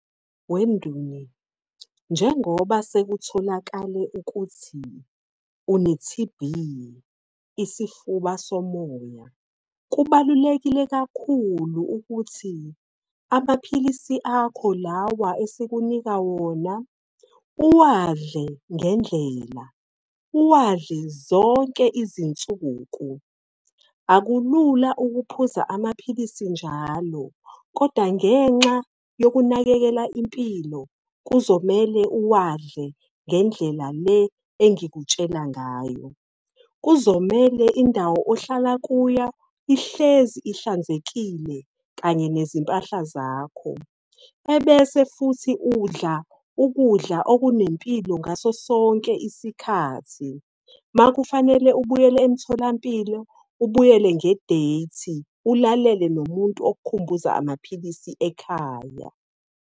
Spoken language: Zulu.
njengoba sekutholakale ukuthi une-T_B isifuba somoya, kubalulekile kakhulu ukuthi amaphilisi akho lawa esikunika wona, uwadle ngendlela, uwadle zonke izinsuku. Akulula ukuphuza amaphilisi njalo, kodwa ngenxa yokunakekela impilo, kuzomele uwadle ngendlela le engikutshela ngayo. Kuzomele indawo ohlala kuyo ihlezi ihlanzekile, kanye nezimpahla zakho, ebese futhi udla ukudla okunempilo ngaso sonke isikhathi. Uma kufanele ubuyele emtholampilo, ubuyele nge-date. Ulalele nomuntu okukhumbuza amaphilisi ekhaya.